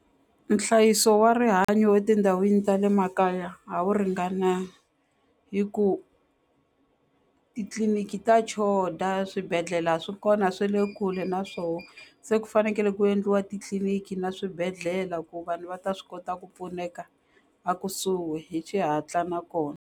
Nhlayiso wa rihanyo etindhawini ta le makaya a wu ringana hi ku titliliniki ta choda swibedhlele a swi kona swi le kule na swoho se ku fanekele ku endliwa titliliniki na swibedlhela ku vanhu va ta swi kota ku pfuneka a kusuhi hi xihatla nakona.